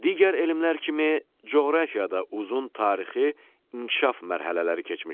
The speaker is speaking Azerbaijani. Digər elmlər kimi coğrafiya da uzun tarixi inkişaf mərhələləri keçmişdir.